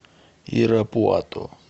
ирапуато